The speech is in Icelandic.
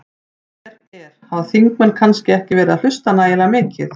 Er, er, hafa þingmenn kannski ekki verið að hlusta nægilega mikið?